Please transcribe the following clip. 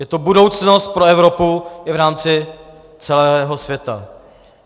Je to budoucnost pro Evropu i v rámci celého světa.